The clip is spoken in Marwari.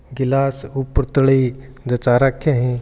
गिलास ऊपरतली जचा राख्ये है।